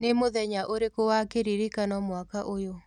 nĩ mũthenya ũrĩkũ wa kĩrĩrĩkano mwaka ũyũ